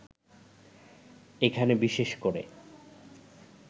এখানে বিশেষ করে